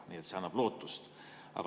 Nii et see annab lootust.